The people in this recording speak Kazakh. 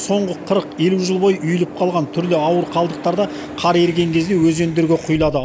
соңғы жыл бойы үйіліп қалған түрлі ауыр қалдықтар да қар еріген кезде өзендерге құйылады